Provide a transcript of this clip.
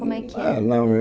Como é que é? Ah não